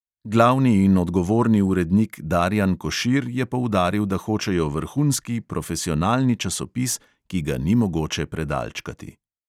Glavni in odgovorni urednik darijan košir je poudaril, da hočejo vrhunski profesionalni časopis, ki ga ni mogoče predalčkati.